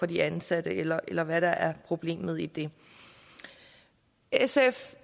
de ansatte eller eller hvad der er problemet i det sf